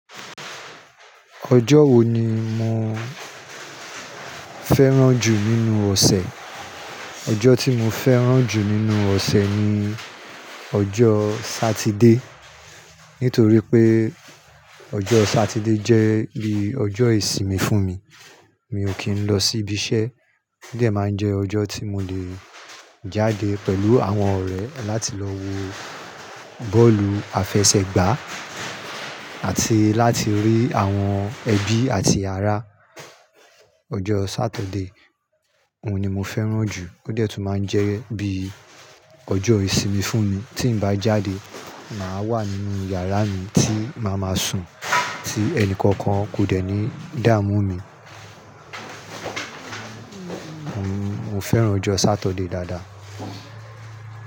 Ọjọ́ wo ni mo fẹ́ràn jù nínú ọ̀sẹ̀? Ọjọ́ tí mo fẹ́ràn jù nínú ọ̀sẹ̀ ni ọjọ́ Sátidé. Nítorí pé ọjọ́ Sátidé jẹ́ bí ọjọ́ ìsinmi fún mi. Mi ò kí ń lọ sí ibi iṣẹ́, ó dẹ̀ máa ń jẹ ọjọ́ tí mo le jáde pẹ̀lú àwọn ọ̀rẹ́ láti lọ wo bọ́ọ̀lù àfẹsẹ̀gbá àti láti rí àwọn ẹbí àti ará. Ọjọ́ Sátidé, òun ni mo fẹ́ràn jù ó dẹ̀ tún máa ń jẹ́ bí ọjọ́ ìsinmi fún mi. Tí n bá jáde, màá wà nínú yàrá mi tí màá máa sùn, tí ẹnìkankan kò dẹ̀ ní dààmú mi. Mo fẹ́ràn ọjọ́ Sátidé dáadáa.